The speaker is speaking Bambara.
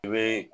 I bɛ